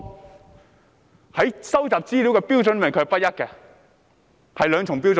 他們對收集資料的標準不一，持有雙重標準。